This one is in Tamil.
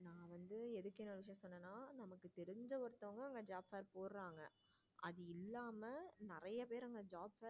இந்த ஒருத்தவங்க அங்க job fair போறாங்க அது இல்லாம அங்க நிறைய பேரு job fair